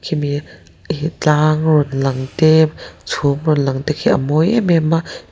khi mi hi tlang rawn lang te chhum rawn lang te khi a mawi em em a --